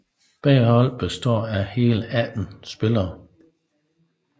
Begge hold består af hele 18 spillere